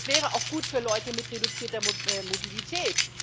Es wäre auch gut für Leute mit reduzierter Mobilität.